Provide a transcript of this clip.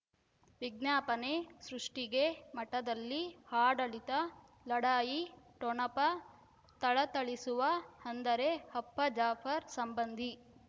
ವಿಜ್ಞಾಪನೆ ಸೃಷ್ಟಿಗೆ ಮಠದಲ್ಲಿ ಆಡಳಿತ ಲಢಾಯಿ ಠೊಣಪ ಥಳಥಳಿಸುವ ಅಂದರೆ ಅಪ್ಪ ಜಾಫರ್ ಸಂಬಂಧಿ